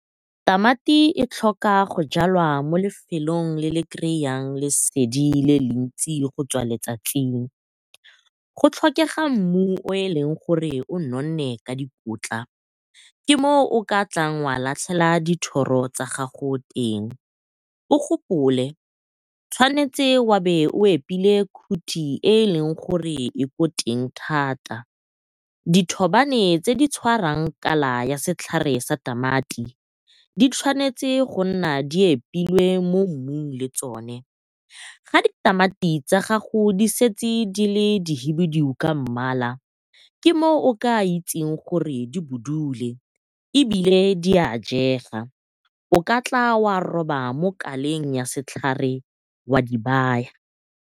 Tamati e tlhoka go jalwa mo lefelong le le lesedi le le ntsi go tswa letsatsing. Go tlhokega mmu o e leng gore o nonne ka dikotla, ke moo o ka tlang wa latlhela dithoro tsa gago teng. O gopole tshwanetse o be o epile khuthi e e leng gore e ko teng thata, dithobane tse di tshwarang kala ya setlhare sa tamati di tshwanetse go nna di epilwe mo mmung le tsone. Ga ditamati tsa gago di setse di le dihibidu ka mmala ke mo o ka itseng gore di budule, ebile di a jega o ka tla wa roba mo kaleng ya setlhare wa di baya.